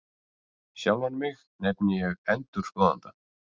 Sjálfan mig nefni ég ENDURSKOÐANDA